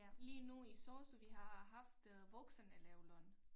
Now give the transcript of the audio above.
Lige nu i sosu vi har haft øh voksenelevløn